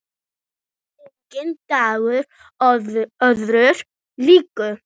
Enginn dagur öðrum líkur.